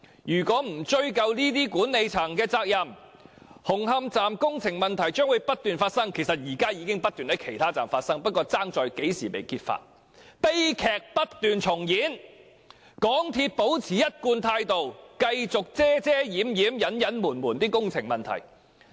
若不追究管理層的責任，紅磡站工程的同類問題將會不斷發生——其實現正不斷在其他車站發生，只是不知何時會被揭發——悲劇將會不斷重演，港鐵公司將會保持一貫態度，繼續遮掩隱瞞工程問題。